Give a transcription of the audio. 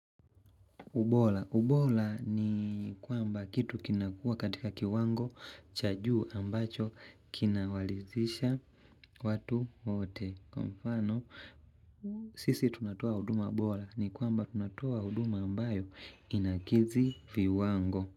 Ubola. Ubola ni kwamba kitu kinakua katika kiwango cha juu ambacho kinawalizisha watu wote. Kwa mfano, sisi tunatoa huduma bola ni kwamba tunatoa huduma ambayo inakizi viwango.